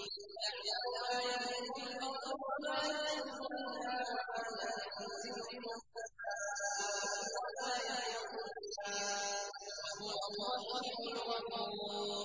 يَعْلَمُ مَا يَلِجُ فِي الْأَرْضِ وَمَا يَخْرُجُ مِنْهَا وَمَا يَنزِلُ مِنَ السَّمَاءِ وَمَا يَعْرُجُ فِيهَا ۚ وَهُوَ الرَّحِيمُ الْغَفُورُ